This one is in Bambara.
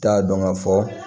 T'a dɔn ka fɔ